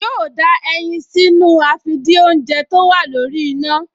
Yóò da ẹyin sínú àfìdínoúnjẹ tó wà lórí iná